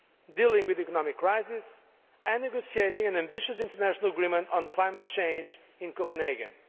dealing with the economic crisis and negotiating an ambitious international agreement on climate change in Copenhagen.